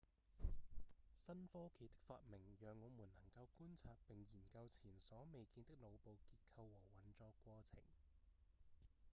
新科技的發明讓我們能夠觀察並研究前所未見的腦部結構和運作過程